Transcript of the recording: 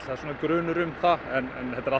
það er grunur um það en þetta eru